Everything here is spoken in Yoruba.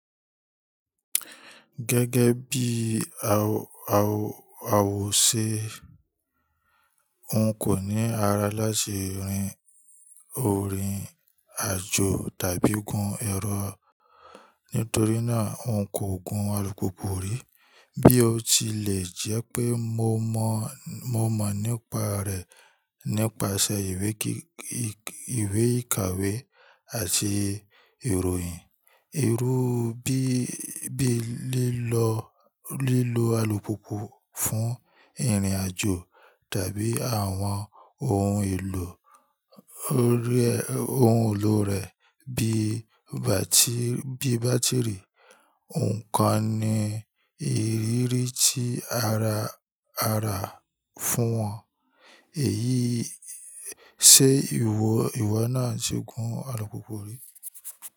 Gẹ́gẹ́ bí àwọ̀ ṣe, òun kò ní ara láti rin ìrìn àjò tàbí gun ẹ̀rọ nítorí náà òun kò gun alùpùpù rí. Bí ó tilẹ̀ jẹ́ pé mo mọ̀ nípa rẹ̀ nípasẹ̀ ìwé ìkàwé àti ìròyìn. Irú bí i lílọ alùpùpù fún ìrìn àjò tàbí àwọn ohun èlò rẹ̀ bí i bátìrì, nǹkan ni ìrírí tí ara rà fún wọn. Ṣé ìwọ náà ti gun alùpùpù rí?